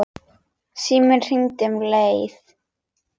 Síminn hringdi um leið.